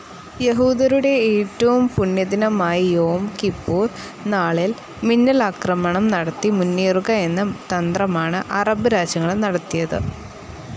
യഹൂദരുടെ ഏറ്റവും പുണ്യദിനമായ യോം കിപ്പൂർ നാളിൽ മിന്നലാക്രമണം നടത്തി മുന്നേറുക എന്ന തന്ത്രമാണ് അറബ് രാജ്യങ്ങൾ നടത്തിയത്.